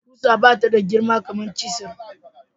Kusa bata da girma kamar cisir.